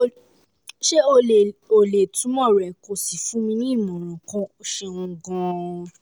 ṣé o lè o lè túmọ̀ rẹ̀ kó o sì fún mi ní ìmọ̀ràn kan? ẹ ṣeun gan-an